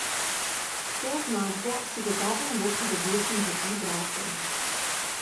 S to označbo si gotovo ne bo pridobil simpatij bralcev.